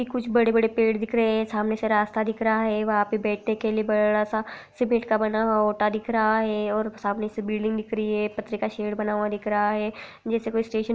कुछ बड़े-बड़े पेड़ दिख रहे है| सामने से रास्ता दिख रहा है वहा पे बैठने के लिए बड़ा सा सीमेंट का बना हुआ ओटा दिख रहा है और सामने से बिल्डिंग दिख रही है एक पत्रिका शेड बना हुआ दिख रहा है कोई स्टेशन --